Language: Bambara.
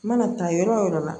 Mana taa yɔrɔ wo yɔrɔ la